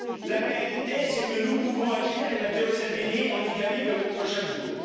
La réalité est que nous pouvons agir et Matteo Salvini, en Italie, le montre chaque jour.